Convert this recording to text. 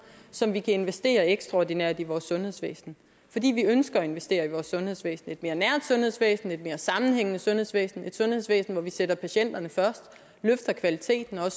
som vi kan investere ekstraordinært i vores sundhedsvæsen fordi vi ønsker at investere i vores sundhedsvæsen et mere nært sundhedsvæsen et mere sammenhængende sundhedsvæsen et sundhedsvæsen hvor vi sætter patienterne først løfter kvaliteten og